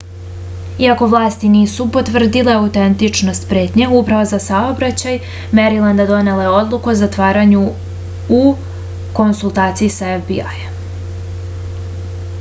iako vlasti nisu potvrdile autentičnost pretnje uprava za saobraćaj merilenda donela je odluku o zatvaranju u konsultaciji sa fbi-jem